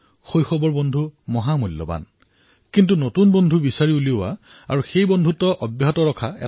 শৈশৱৰ বন্ধু মহা মূল্যৱান কিন্তু নতুন বন্ধু বাচনি কৰা বনোৱা আৰু বনাই ৰখা এয়া নিজৰ মাজতে এক বুদ্ধিদীপ্ততাৰ কাম